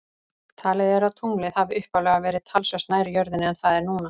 Talið er að tunglið hafi upphaflega verið talsvert nær jörðinni en það er núna.